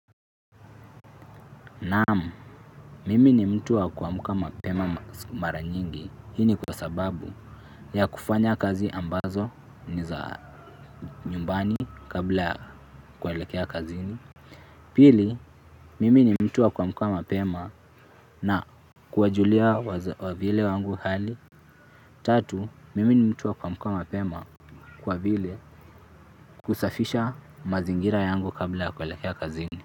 Naam. Mimi ni mtu wa kuamka mapema mara nyingi hii ni kwa sababu ya kufanya kazi ambazo ni za nyumbani kabla kuelekea kazini pili, mimi ni mtu wa kuamka mapema na kuwajulia wavyele wangu hali. Tatu, mimi ni mtu wa kuamka mapema kwa vile kusafisha mazingira yangu kabla ya kuelekea kazini.